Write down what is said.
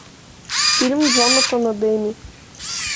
фильм джонатана демми